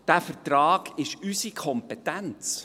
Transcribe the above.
Dieser Vertrag ist unsere Kompetenz.